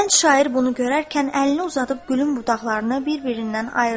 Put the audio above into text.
Gənc şair bunu görərkən əlini uzadıb gülün budaqlarını bir-birindən ayırdı.